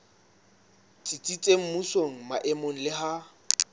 tsitsitseng mmusong maemong le ha